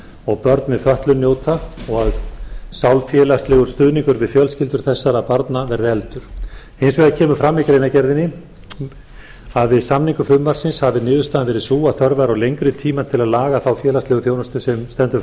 og börn með fötlun njóta og að sálfélagslegur stuðningur við fjölskyldur þessara barna verði efldur hins vegar kemur fram í greinargerðinni að við samningu frumvarpsins hafi niðurstaðan verið sú að þörf væri á lengri tíma til að laga þá félagslegu þjónustu sem stendur